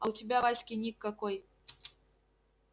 а у тебя в аське ник какой